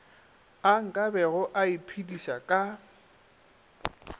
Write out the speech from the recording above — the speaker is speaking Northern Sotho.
a nkabego a iphediša ka